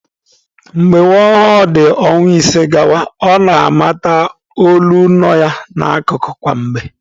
Mgbe nwa ọhụrụ dị ọnwa ise gawa, ọ na-amata olu nọ ya n'akụkụ kwa mgbe.